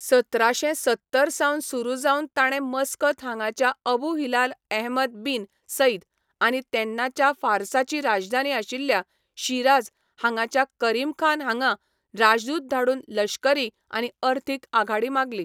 सतराशें सत्तर सावन सुरू जावन ताणें मस्कत हांगाच्या Abu Hilal Ahmad bin Said आनी तेन्नाच्या फारसाची राजधानी आशिल्ल्या शिराझ हांगाच्या करीमखान हांगा राजदूत धाडून लश्करी आनी अर्थीक आघाडी मागली.